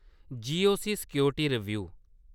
GOC. Security रिब्यू